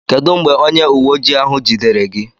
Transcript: Kedụ mgbe onye uweojii ahụ jidere gị?